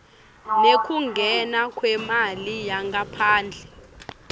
nekungena kwemali yangaphandle